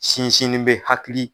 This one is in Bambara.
Sinsinni bɛ hakili